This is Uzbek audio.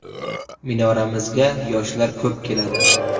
Minoramizga yoshlar ko‘p keladi.